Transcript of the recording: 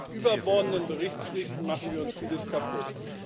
Mit überbordenden Berichtspflichten machen wir uns vieles kaputt.